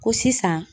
Ko sisan